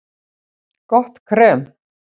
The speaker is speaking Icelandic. Gott krem